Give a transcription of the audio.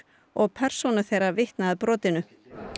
og persóna þeirra vitni að brotinu